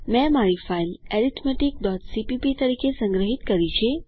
મેં મારી ફાઈલ arithmeticસીપીપી તરીકે સંગ્રહિત કરી છે